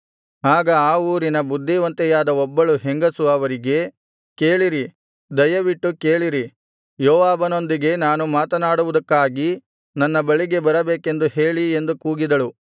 ಆಗ ಆ ಊರಿನ ಬುದ್ಧಿವಂತೆಯಾದ ಒಬ್ಬಳು ಹೆಂಗಸು ಅವರಿಗೆ ಕೇಳಿರಿ ದಯವಿಟ್ಟು ಕೇಳಿರಿ ಯೋವಾಬನೊಂದಿಗೆ ನಾನು ಮಾತನಾಡುವುದಕ್ಕಾಗಿ ನನ್ನ ಬಳಿಗೆ ಬರಬೇಕೆಂದು ಹೇಳಿ ಎಂದು ಕೂಗಿದಳು